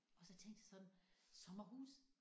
Og så tænkte jeg sådan sommerhus